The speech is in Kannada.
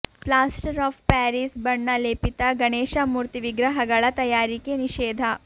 ಪ್ಲಾಸ್ಟರ್ ಆಫ್ ಪ್ಯಾರಿಸ್ ಬಣ್ಣ ಲೇಪಿತ ಗಣೇಶ ಮೂರ್ತಿ ವಿಗ್ರಹಗಳ ತಯಾರಿಕೆ ನಿಷೇಧ